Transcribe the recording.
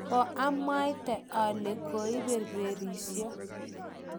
koamwaite ale koiberberisio